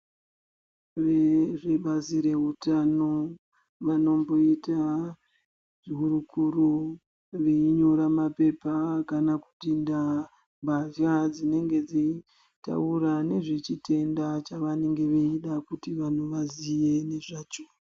Vezvebazi rehutano, vanomboita hurukuro veinyora maphepha kana kuti ndaa mbadya dzinenge dzichitaura nezvechitenda chavanenge veida kuti vanhu vaziye ngezvacho.